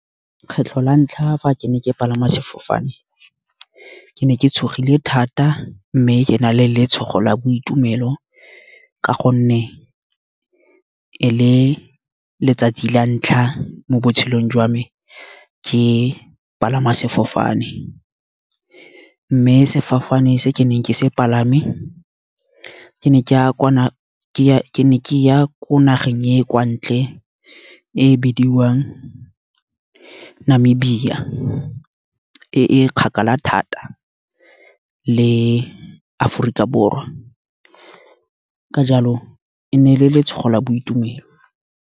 Kgetlho la ntlha fa ke ne ke palama sefofane ke ne ke tshogile thata mme ke na le letshogo la boitumelo. Ka gonne le letsatsi la ntlha mo botshelong jwa me ke palama sefofane, mme sefofane se ke neng ke se palame ke ne ke ya ko nageng e kwa ntle, e bidiwang Namibia, e kgakala thata le Aforika Borwa, ka jalo e ne e le letshogo la boitumelo.